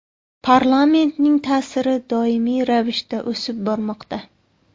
Parlamentning ta’siri doimiy ravishda o‘sib bormoqda.